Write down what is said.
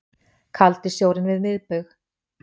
Kaldi sjórinn við miðbaug